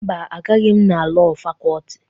Mba, Agaghị m na Lọọ Fakọlti.